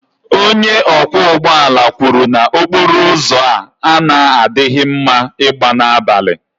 onye ọkwọ ụgbọ ala kwuru na okporo ụzọ a na-adịghị mma ịgba n'abalị